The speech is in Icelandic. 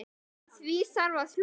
Að því þarf að hlúa.